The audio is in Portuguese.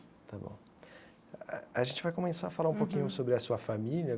Tá bom a gente vai começar a falar um pouquinho sobre a sua família.